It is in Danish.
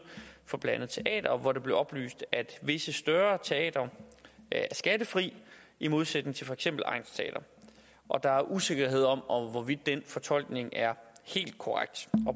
for blandt andet teatre hvor det blev oplyst at visse større teatre er skattefri i modsætning til for eksempel egnsteatre og der er usikkerhed om hvorvidt den fortolkning er helt korrekt